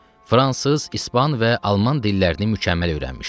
Fransız, ispan və alman dillərini mükəmməl öyrənmişdi.